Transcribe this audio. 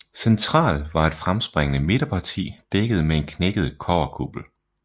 Central var et fremspringende midterparti dækket med en knækket kobberkuppel